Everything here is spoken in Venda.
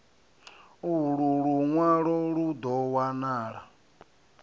ulu lunwalo lu do wanala